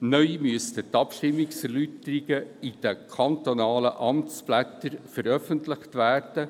Neu müssten die Abstimmungserläuterungen in den kantonalen Amtsblättern veröffentlicht werden.